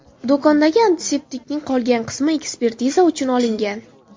Do‘kondagi antiseptikning qolgan qismi ekspertiza uchun olingan.